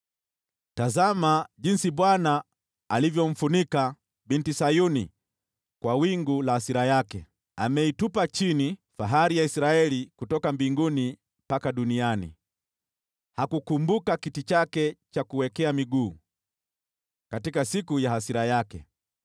Tazama jinsi Bwana alivyomfunika Binti Sayuni kwa wingu la hasira yake! Ameitupa chini fahari ya Israeli kutoka mbinguni mpaka duniani, hakukumbuka kiti chake cha kuwekea miguu katika siku ya hasira yake.